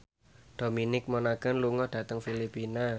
Dominic Monaghan lunga dhateng Filipina